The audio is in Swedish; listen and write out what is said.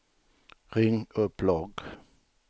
ring upp logg